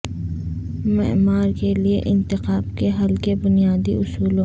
معمار کے لئے انتخاب کے حل کے بنیادی اصولوں